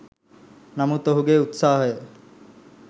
නමුත් ඔහුගේ උත්සාහය